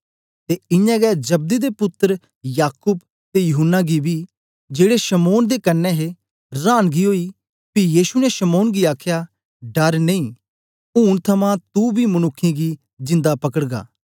ते इयां गै जब्दी दे पुत्तर याकूब ते यूहन्ना गी बी जेड़े शमौन दे कन्ने हे रांनगी ओई पी यीशु ने शमौन गी आखया डर नेई उनै थमां तू बी मनुक्खें गी जिन्दा पकड़गा